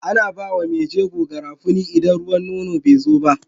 Ana bawa me jego garafuni idan ruwan nono bezo ba